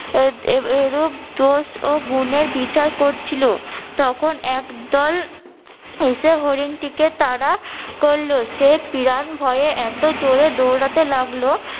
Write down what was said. এরূপ দোষ ও গুনের বিচার করছিলো তখন এক দল এসে হরিণটিকে তারা করলো সে পিরান ভয়ে এতো জোরে দৌড়াতে লাগলো